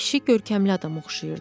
Kişi görkəmli adama oxşayırdı.